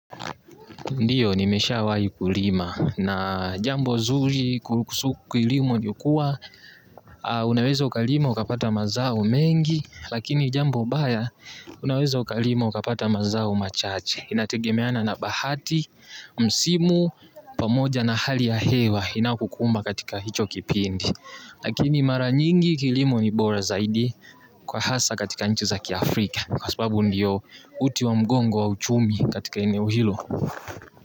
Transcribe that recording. Ndiyo nimeshawahi kulima na jambo zuri kuhusu kilimo ni kuwa unaweza ukalima ukapata mazao mengi, lakini jambo baya unaweza ukalima ukapata mazao machache. Inatekemeana na bahati, msimu, pamoja na hali ya hewa inakukumba katika hicho kipindi. Lakini mara nyingi kilimu ni bora zaidi kwa hasa katika nchi za kiafrika kwa sebabu ndiyo uti wa mgongo wa uchumi katika enewo hilo.